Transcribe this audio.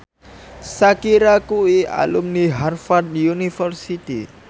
Shakira kuwi alumni Harvard university